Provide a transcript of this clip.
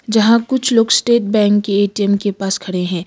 जहां कुछ लोग स्टेट बैंक के ए_टी_एम के पास खड़े हैं।